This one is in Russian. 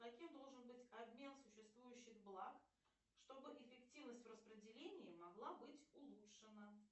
каким должен быть обмен существующих благ чтобы эффективность в распределении могла быть улучшена